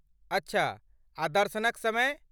अच्छा, आ दर्शनक समय?